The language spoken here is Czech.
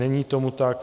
Není tomu tak.